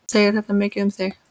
Segir þetta mikið um þig.